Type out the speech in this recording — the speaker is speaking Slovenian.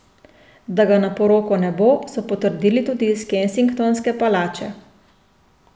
Da ga na poroko ne bo, so potrdili tudi iz Kensingtonske palače.